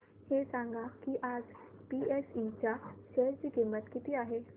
हे सांगा की आज बीएसई च्या शेअर ची किंमत किती आहे